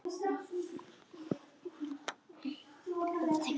Elsku bók!